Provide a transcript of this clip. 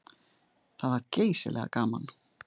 Það var geysilega gaman.